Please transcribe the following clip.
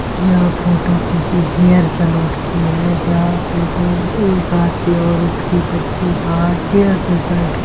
यह फोटो किसी hair salon की है जहाँ पे दो एक आदमी और उसकी बच्ची बाहर चेयर पर बैठ के --